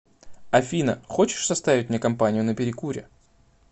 афина хочешь составить мне компанию на перекуре